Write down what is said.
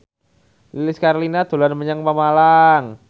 Lilis Karlina dolan menyang Pemalang